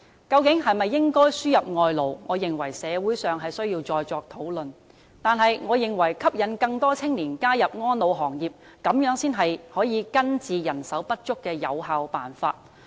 究竟應否輸入外勞，我認為社會上要再作討論，但吸引更多青年加入安老行業，才是根治人手不足的有效辦法。